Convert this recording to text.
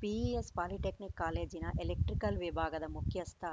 PES polytechnic ಕಾಲೇಜಿನ electrical ವಿಭಾಗದ ಮುಖ್ಯಸ್ಥ